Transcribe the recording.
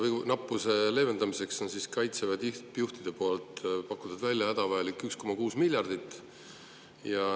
Moonanappuse leevendamiseks on Kaitseväe tippjuhid pakkunud välja, et hädavajalik on 1,6 miljardit.